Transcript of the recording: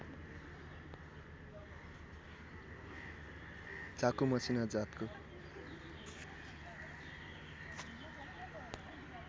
चाकु मसिना जातको